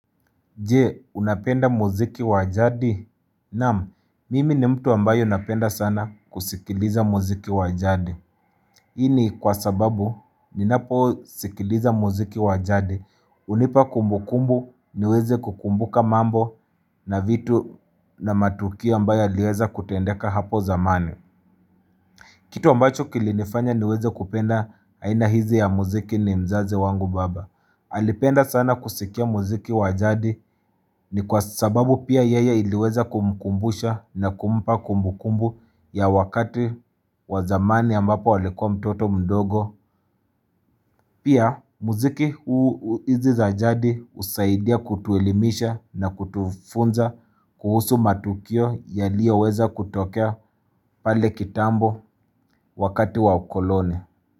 Je, unapenda mziki wa jadi? Nam, mimi ni mtu ambayo napenda sana kusikiliza mziki wa jadi. Hii ni kwa sababu, ninapo sikiliza muziki wa jadi. Unipa kumbukumbu, niweze kukumbuka mambo na vitu na matukio ambayo liweza kutendeka hapo zamani. Kitu ambacho kilinifanya niweze kupenda aina hizi ya muziki ni mzazi wangu baba. Alipenda sana kusikia muziki wajadi ni kwa sababu pia yaya iliweza kumkumbusha na kumpa kumbukumbu ya wakati wa zamani ambapo alikua mtoto mdogo. Pia muziki huu hizi za jadi usaidia kutuelimisha na kutufunza kuhusu matukio yaliyo weza kutokea pale kitambo wakati wa ukoloni.